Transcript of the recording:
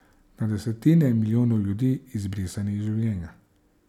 Na desetine milijonov ljudi, izbrisanih iz življenja.